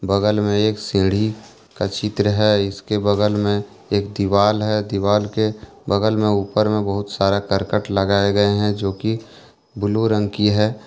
बगल में एक सीढ़ी का चित्र है इसके बगल में एक दीवाल है दीवाल के बगल में ऊपर में बहुत सारा करकट लगाए गए हैं जो कि ब्लू रंग की है।